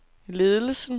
ledelsen